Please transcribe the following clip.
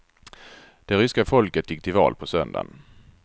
Det ryska folket gick till val på söndagen.